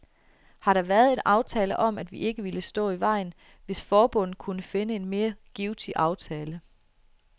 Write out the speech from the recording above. Har der været en aftale om, at vi ikke ville stå i vejen, hvis forbundet kunne finde en mere givtig aftale?